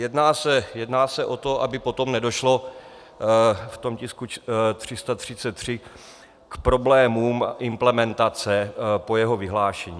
Jedná se o to, aby potom nedošlo v tom tisku 333 k problémům implementace po jeho vyhlášení.